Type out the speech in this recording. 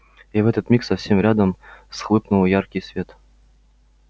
и в этот миг совсем рядом вспыхнул яркий свет